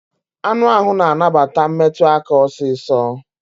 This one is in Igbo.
Anụ ahụ na anabata metụ aka osiso